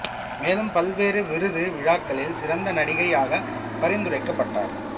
மேலும் பல்வேறு விருது விழாக்களில் சிறந்த நடிகை யாகப் பரிந்துரைக்கப்பட்டார்